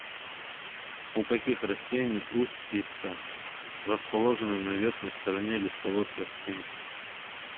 у каких растений устьица расположены на верхней стороне листовой пластинки